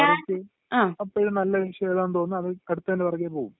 അവര്ക്ക് അപ്പഴ് നല്ല വിഷയം ഏതാണെന്ന് തോന്നുന്ന അത്..അടുത്തെന്റെ പുറകെ പോകും.